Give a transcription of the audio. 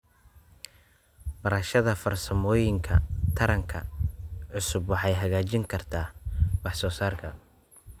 Barashada farsamooyinka taranka cusub waxay hagaajin kartaa wax soo saarka.